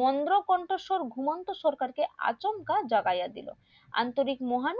মন্ধ কন্ঠস্বর ঘুমন্ত সরকার কে আচমকা জাগাইয়া দিলো আন্তরিক মহান